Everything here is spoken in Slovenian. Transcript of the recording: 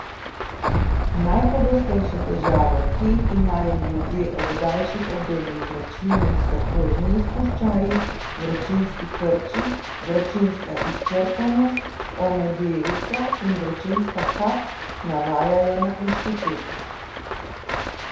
Najpogostejše težave, ki jih imajo ljudje ob daljših obdobjih vročine, so kožni izpuščaji, vročinski krči, vročinska izčrpanost, omedlevica in vročinska kap, navajajo na inštitutu.